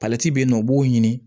bɛ yen nɔ u b'o ɲini